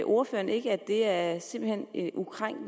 ordføreren ikke at